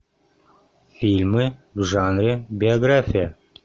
фильмы в жанре биография